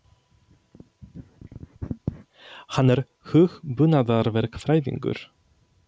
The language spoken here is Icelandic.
Hann er hugbúnaðarverkfræðingur.